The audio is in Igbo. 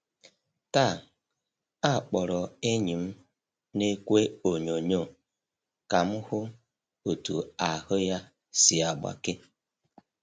Taa, akpọrọ enyi m n'ekwe onyoonyo ka m hụ otú ahụ́ ya si agbake.